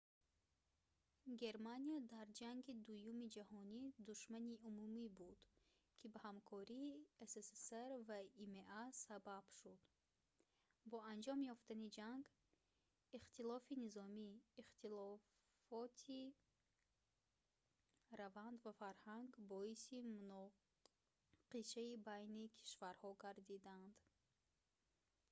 германия дар ҷанги дуюми ҷаҳонӣ душмани умумӣ буд ки ба ҳамкории ссср ва има сабаб шуд бо анҷом ёфтани ҷанг ихтилофоти низомӣ ихтилофоти раванд ва фарҳанг боиси муноқишаи байни кишварҳо гардиданд